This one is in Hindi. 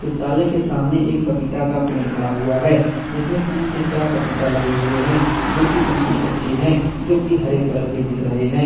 साले के सामने एक पपीता का पेड़ खड़ा हुआ है इसमें तीन से चार पपीता लगे हुए हैं जो की बिल्कुल कच्चे हैं जो की हरे कलर के दिख रहे हैं।